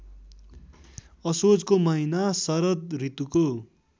असोजको महिना शरदऋतुको